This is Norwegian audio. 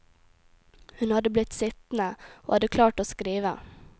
Hun hadde blitt sittende, og hadde klart å skrive.